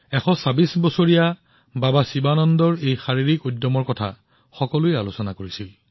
১২৬ বছৰ বয়স আৰু বাবা শিৱানন্দৰ সুস্থতা দুয়োটাই আজি দেশৰ আলোচনাৰ বিষয়